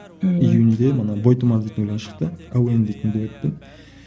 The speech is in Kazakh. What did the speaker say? июньде мына бойтұмар дейтін ән шықты әуен дейтін дуэтпен